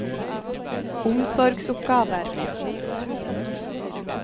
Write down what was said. omsorgsoppgaver